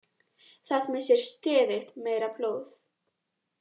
Það missir stöðugt meira blóð